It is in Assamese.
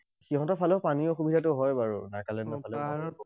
সিহঁতৰ ফালেও পানীৰ অসুবিধাটো হয় বাৰু, নাগালেণ্ডৰ ফালে।